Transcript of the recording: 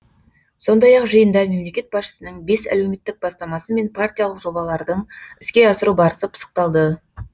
сондай ақ жиында мемлекет басшысының бес әлеуметтік бастамасы мен партиялық жобалардың іске асыру барысы пысықталды